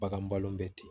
Bagan balon bɛ ten